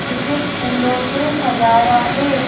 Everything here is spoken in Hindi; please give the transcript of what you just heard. जिसे फूलों से सजाया है।